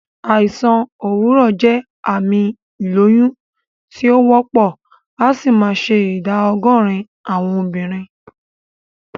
Àìsàn òwúrọ̀ jẹ́ àmì ìlóyún tí o wópò, asì ma se ìdá ogórín àwon obìrin